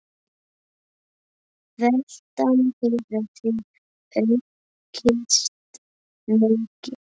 Veltan hefur því aukist mikið.